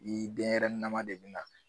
I denɲɛrɛnin nama de bina